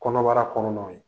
Kɔnɔbara kɔnɔnaw ye